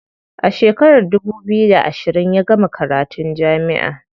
A shekarar dubu biyu da ashirin ya gama karatun jami'a.